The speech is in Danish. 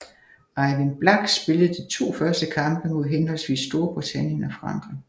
Ejvind Blach spillede de to første kampe mod henholdsvis Storbritannien og Frankrig